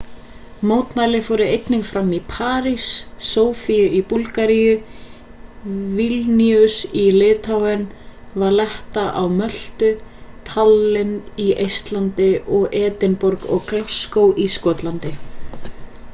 mótmæli fóru einnig fram í parís sofíu í búlgaríu vilníus í litháen valetta á möltu tallinn í eistlandi og edinborg og glasgow í skotlandi